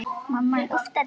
Hvað er það sem veldur?